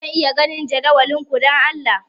Zan iya ganin jadawalin ku, don Allah?